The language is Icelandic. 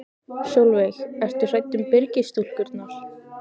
Sólveig: Ertu hrædd um Byrgis-stúlkurnar?